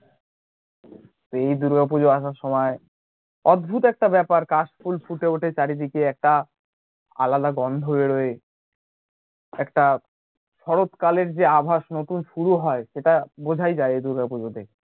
এই দূর্গা পূজো আসার সময় অদ্ভত একটা ব্যাপার কাশফুল ফুটে ওঠে চারিদিকে একটা আলাদা গন্ধ বেরোয় একটা শরৎকালের যে আভাস নতুন শুরু হয় সেটা বোঝাই যায় এই দূর্গা পুজোতে